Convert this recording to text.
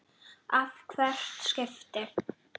að hvert skipti.